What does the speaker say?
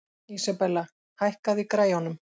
Isabella, hækkaðu í græjunum.